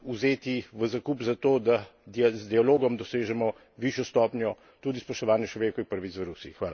sile vzeti v zakup zato, da z dialogom dosežemo višjo stopnjo tudi spoštovanja človekovih pravic v Rusiji.